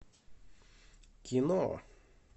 кино